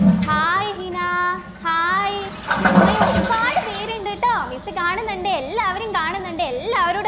hi Hina hi Sumayya ഒരുപാട് പേരുണ്ട് ട്ടോ miss കാണുന്നുണ്ട് എല്ലാവരെയും കാണുന്നുണ്ട് എല്ലാവരോടു